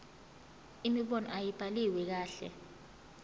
imibono ayibhaliwe kahle